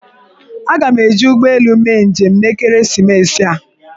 Aga m eji ụgbọelu mee njem n'ekeresimesi a